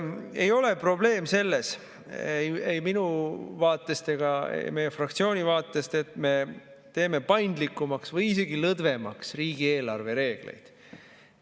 Ei ole probleem selles ei minu vaatest ega meie fraktsiooni vaatest, et me teeme paindlikumaks või isegi lõdvemaks riigieelarve reegleid.